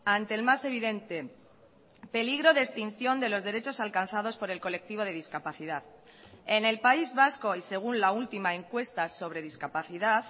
ante el más evidente peligro de extinción de los derechos alcanzados por el colectivo de discapacidad en el país vasco y según la última encuesta sobre discapacidad